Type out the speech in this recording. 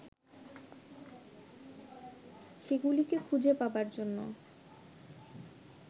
সেগুলিকে খুঁজে পাবার জন্যে